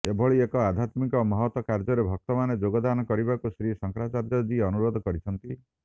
ଏଭଳି ଏକ ଆଧ୍ୟାତ୍ମିକ ମହତ୍ କାର୍ଯ୍ୟରେ ଭକ୍ତମାନେ ଯୋଗଦାନ କରିବାକୁ ଶ୍ରୀ ଶଙ୍କରାଚାର୍ଯ୍ୟଜୀ ଅନୁରୋଧ କରିଛନ୍ତି